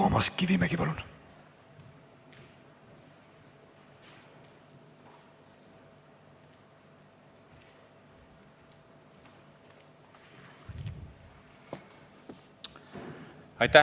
Toomas Kivimägi, palun!